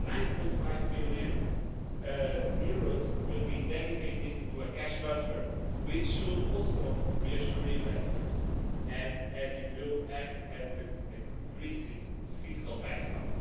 9.5 billion will be dedicated to a cash buffer, which should also reassure investors as it will act as Greece's fiscal backstop.